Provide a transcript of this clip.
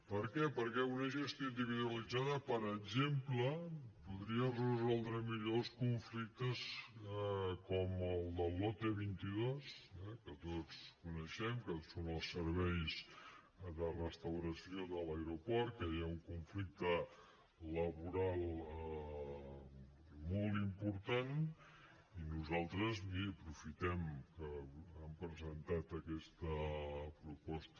per què perquè una gestió individualitzada per exemple podria resoldre millor els conflictes com el del lote vint dos eh que tots coneixem que són els serveis de restauració de l’aeroport que hi ha un conflicte laboral molt important i nosaltres miri aprofitem que han presentat aquesta proposta